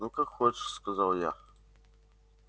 ну как хочешь сказал я